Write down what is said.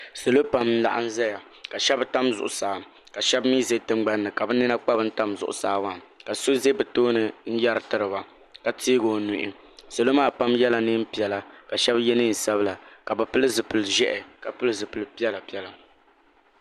Salo pam n laɣim zaya ka shɛba tam zuɣusaa ka shɛba mi ʒɛ tingbani ka bi nina kpa bin tam zuɣusaa ka so za bi tooni n yari tiri ba ka teegi o nuhi salo maa pam yɛla niɛn piɛla ka shɛba yɛ niɛn sabila ka bi pili zipili ʒiɛhi ka pili zipili piɛla piɛla.